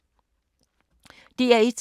DR1